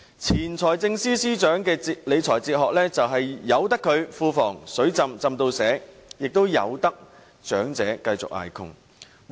前財政司司長的理財哲學是任由庫房"水浸"至滿瀉，也任由長者繼續捱窮。